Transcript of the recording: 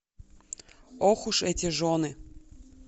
ох уж эти жены